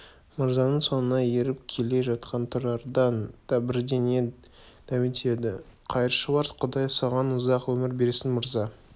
мырзаның соңынан еріп келе жатқан тұрардан да бірдеңе дәметеді қайыршылар құдай саған ұзақ өмір берсін мырза